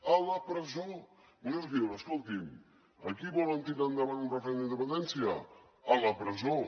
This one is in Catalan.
a la presó vostè diu escolti’m aquí volen tirar endavant un referèndum d’independència a la presó